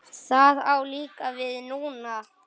Það á líka við núna.